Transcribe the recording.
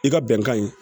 I ka bɛnkan in